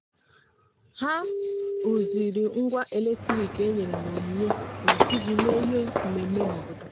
ha rụziri ngwa eletrik e nyere n'onyinye maka iji mee ihe mmemme n' obodo.